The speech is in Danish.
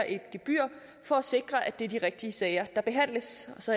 et gebyr for at sikre at det er de rigtige sager der behandles og så